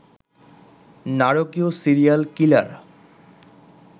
নারকীয় সিরিয়াল কিলার